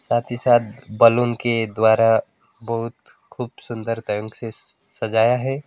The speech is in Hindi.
साथही साथ बलून के द्वारा बहुत खूब सुंदर ढंग से सजाया है।